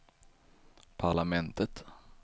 parlamentet